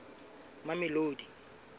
mamelodi